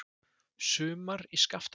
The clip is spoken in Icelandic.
Sumar í Skaftafelli.